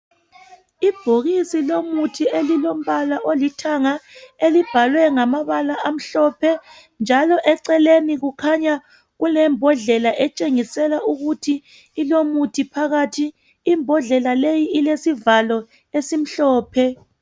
Ibhokisi lomuthi elilombala olithanga elibhalwe ngamabala amhlophe njalo eceleni kukhanya kulembondlela etshengisela ukuthi ilomuthi phakathi imbodlela leyi ilesivalo esimhlophe